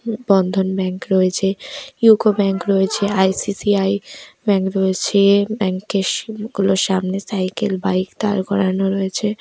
বন্ধন bank রয়েছে UCO bank রয়েছে .ICICI bank রয়েছে ব্যাংকের সিড়ি গুলোর সামনে সাইকেল বাইক দাঁড় করানো রয়েছে ।